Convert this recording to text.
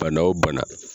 Bana o bana